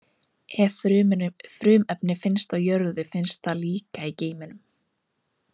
Ef frumefni finnst á jörðu, finnst það líka í geimnum.